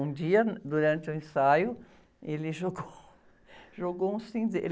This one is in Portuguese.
Um dia, durante o ensaio, ele jogou, jogou um cinzeiro.